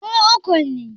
Mu uku ne